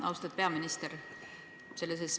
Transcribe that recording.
Austatud peaminister!